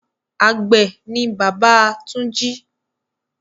Àgbẹ̀ ni bàbá Túnjí.